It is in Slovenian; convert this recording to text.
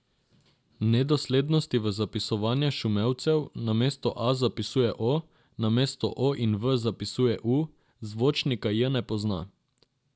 Nedoslednosti v zapisovanju šumevcev, namesto a zapisuje o, namesto o in v zapisuje u, zvočnika j ne pozna ...